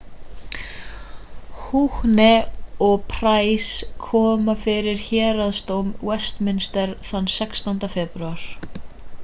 huhne og pryce koma fyrir héraðsdóm westminster þann 16. febrúar